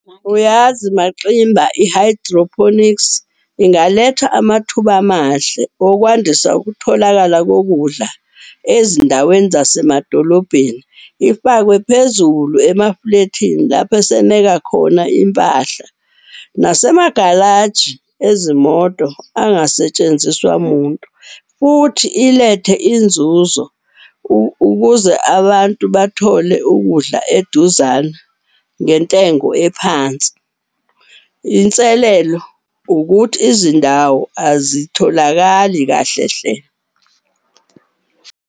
Uyazi MaXimba i-hydroponics ingaletha amathuba amahle okwandisa ukutholakala kokudla ezindaweni zasemadolobheni. Ifakwe phezulu emafulethini lapho eseneka khona impahla nasemagalaji ezimoto angasetshenziswa muntu. Futhi ilethe inzuzo ukuze abantu bathole ukudla eduzane ngentengo ephansi. Inselelo ukuthi izindawo azitholakali kahle hle.